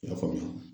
I y'a faamuya